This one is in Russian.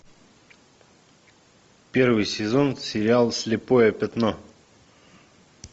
первый сезон сериал слепое пятно